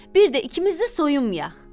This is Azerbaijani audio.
Bir də ikimiz də soyunmayaq.